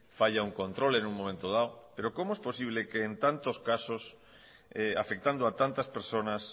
falla un control en un momento dado pero cómo es posible que en tantos casos afectando a tantas personas